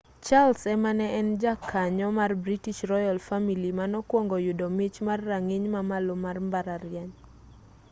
charles ema ne en jakanyo mar british royal family manokwongo yudo mich mar rang'iny ma malo mar mbalariany